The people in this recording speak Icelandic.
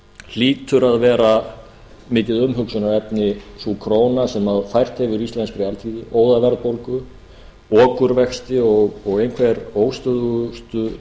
hlýtur að vera mikið umhugsunarefni sú króna sem fært hefur íslenskri alþýðu óðaverðbólgu okurvexti og einhver óstöðugustu